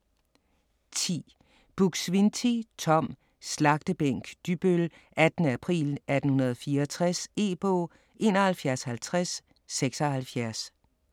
10. Buk-Swienty, Tom: Slagtebænk Dybbøl: 18. april 1864 E-bog 715076